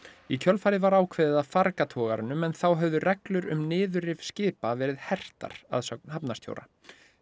í kjölfarið var ákveðið að farga togaranum en þá höfðu reglur um niðurrif skipa verið hertar að sögn hafnarstjóra